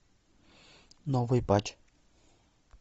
новый патч